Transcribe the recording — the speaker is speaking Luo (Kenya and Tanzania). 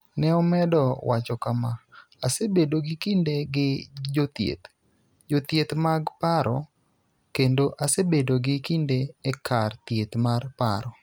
Ne omedo wacho kama: �Asebedo gi kinde gi jothieth, jothieth mag paro kendo asebedo gi kinde e kar thieth mar paro.